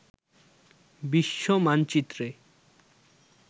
বিশ্ব মানচিত্রে